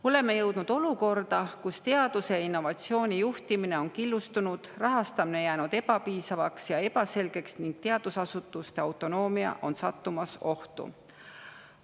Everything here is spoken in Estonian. Oleme jõudnud olukorda, kus teaduse ja innovatsiooni juhtimine on killustunud, rahastamine jäänud ebapiisavaks ja ebaselgeks ning teadusasutuste autonoomia on sattumas ohtu.